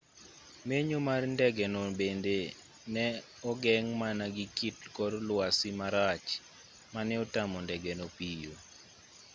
menyo mar ndengeno bende ne ogeng' mana gi kit kor lwasi marach ma ne otamo ndegeno piyo